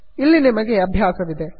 ಇಲ್ಲಿ ನಿಮಗೆ ಅಭ್ಯಾಸವಿದೆ